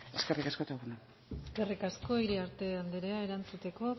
eskerrik asko eta egun on eskerrik asko iriarte andrea erantzuteko